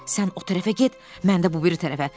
Sən o tərəfə get, mən də bu biri tərəfə.